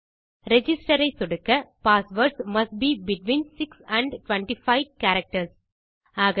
register ஐ சொடுக்க passwords must be between 6 and 25 characters